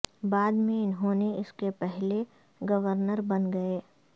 بعد میں انہوں نے اس کے پہلے گورنر بن گئے